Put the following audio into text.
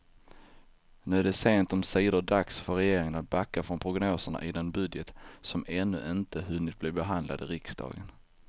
Nu är det sent omsider dags för regeringen att backa från prognoserna i den budget som ännu inte hunnit bli behandlad i riksdagen.